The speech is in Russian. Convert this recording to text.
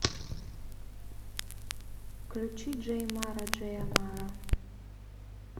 включи джей мара джея мара